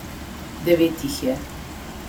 Devet jih je.